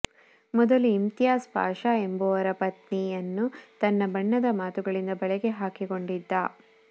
ಮೊದಲು ಇಮ್ತಿಯಾಜ್ ಪಾಷಾ ಎಂಬವರ ಪತ್ನಿಯನ್ನು ತನ್ನ ಬಣ್ಣದ ಮಾತುಗಳಿಂದ ಬಲೆಗ ಹಾಕಿಕೊಂಡಿದ್ದನು